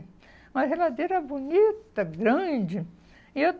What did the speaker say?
Uma geladeira bonita, grande. E eu